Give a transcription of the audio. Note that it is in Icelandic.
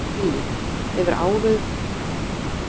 Lillý: Hefur áður verið flutt tónverk svona með þessum hætti?